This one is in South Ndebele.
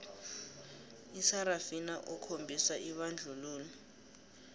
isarafina okhombisa ibandlululo